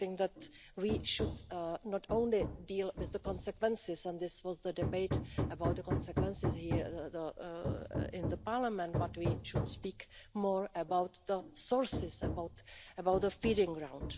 I think that we should not only deal with the consequences and this was the debate about the consequences here in Parliament but we should speak more about the sources, about the breeding ground.